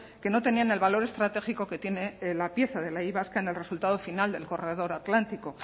que no tenían el valor estratégico que tiene la pieza de la y vasca en el resultado final del corredor atlántico